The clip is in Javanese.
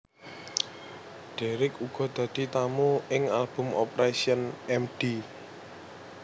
Deryck uga dadi tamu ing album Operation M D